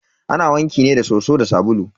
Ana wanke ne da soso da sabulu.